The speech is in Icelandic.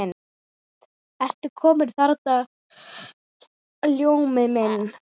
Ertu kominn þarna, Ljómi minn.